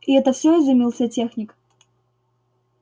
и это все изумился техник